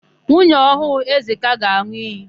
Nwunye ọhụụ Ezeka ga-an̄ụ iyi.